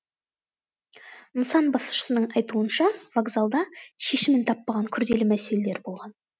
нысан басшысының айтуынша вокзалда шешімін таппаған күрделі мәселелер болған